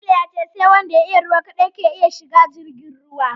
Jamilu ya ce sai wanda ya iya ruwa kaɗai ke iya shiga jirgin ruwa